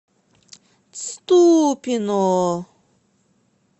ступино